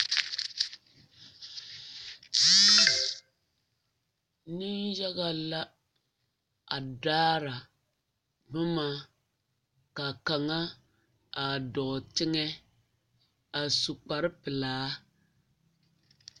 Neŋyaga la a daara boma ka kaŋa a dɔɔ teŋɛ a su kpare pelaa.